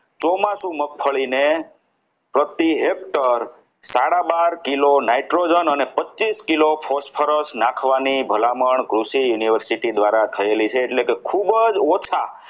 ચોમાસુ મગફળીને પ્રતિ હેક્ટર સદા બાર કિલો nitrogen અને પચીસ કિલો phosphorus નાખવાની ભલામણ કૃષિ University એ દ્વારા થયેલી છે એટલે કે ખૂબ જ ઓછા